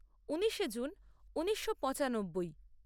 ঊনিশে June ঊনিশো পঁচানব্বই